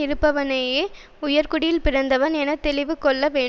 இருப்பவனையே உயர்குடியில் பிறந்தவன் என தெளிவு கொள்ள வேண்டும்